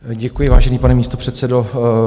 Děkuji, vážený pane místopředsedo.